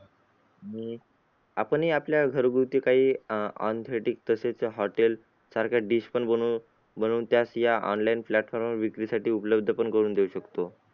आणि आपणही आपल्या घरगुती काही आह तसेच hotel सारख्या dish पण बनवून बनवून त्याच या online platform वर विक्रीसाठी उपलब्ध पण करून देऊ शकतो.